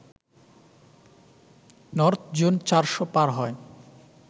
north zone চারশ পার হয়